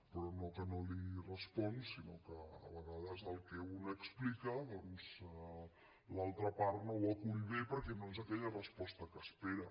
però no que no li responc sinó que a vegades el que un explica doncs l’altra part no ho acull bé perquè no és aquella resposta que espera